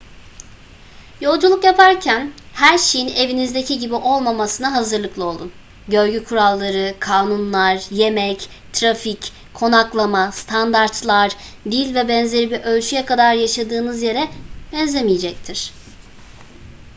yolculuk yaparken her şeyin evinizdeki gibi olmamasına hazırlıklı olun . görgü kuralları kanunlar yemek trafik konaklama standartlar dil vb. bir ölçüye kadar yaşadığınız yere benzemeyecektir